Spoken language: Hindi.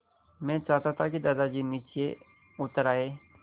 मैं चाहता था कि दादाजी नीचे उतर आएँ